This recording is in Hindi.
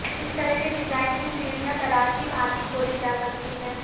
इस तरह के डिजाइन में सीढ़ियां दराज की भांति खोली जा सकती हैं